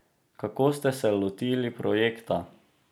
Kako ste se lotili projekta?